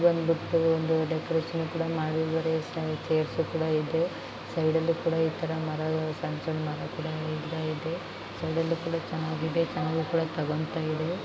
ಇದೊಂದು floor decoration ಕೂಡ ಮಾಡಿದ್ದಾರೆ ಎಷ್ಟೊಂದು ಚೈರ್ಸ್ ಕೂಡ ಇದೆ ಸೈಡ್ ಅಲ್ಲಿ ಕೂಡ ಈತರ ಮರಗಳು ಸಣ್ಣ ಸಣ್ಣ ಮರಗಳು ಎಲ್ಲಾ ಇದೇ